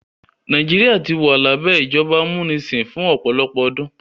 Nàìjíríà wà ní abẹ́ ìjọba amúnisìn fún ọ̀pọ̀lọpọ̀ ọdún.